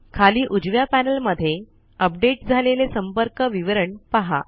खाली उजव्या पैनल मध्ये अपडेट झालेले संपर्क विवरण पहा